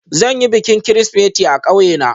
Zan yi bikin Kirsimeti a ƙauye na